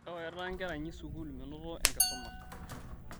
Ewaita nkera inyi sukuul menoto enkisuma